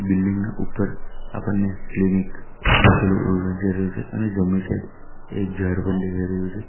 Building ના ઉપર આપણને ક્લિનિક લખેલું એવું વંચાઈ રહ્યું છે અને જમણી સાઈડ એક ઝાડ પણ દેખાઈ રહ્યું છે.